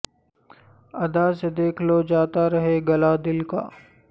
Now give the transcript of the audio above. ادا سے دیکھ لو جاتا رہے گلہ دل کا